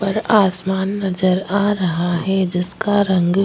और आसमान नजर आ रहा है जिसका रंग --